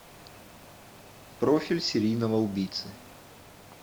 профиль серийного убийцы